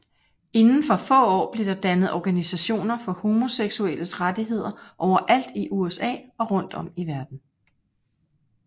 Inden for få år blev der dannet organisationer for homoseksuelles rettigheder overalt i USA og rundt om i verden